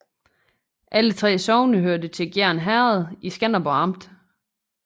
Alle 3 sogne hørte til Gjern Herred i Skanderborg Amt